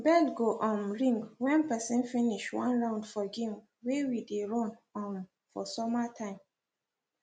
bell go um ring when person finsih one round for game wey we dey run um for summer time